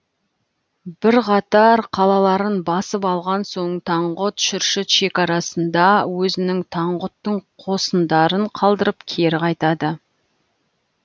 бірқатар қалаларын басып алған соң таңғұт шүршіт шекарасында өзінің таңғұттың қосындарын қалдырып кері қайтады